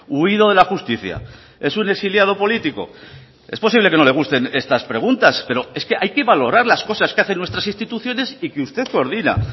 huido de la justicia es un exiliado político es posible que no le gusten estas preguntas pero es que hay que valorar las cosas que hacen nuestras instituciones y que usted coordina